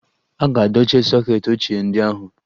A ga-dochie soket ochie ndị ahụ.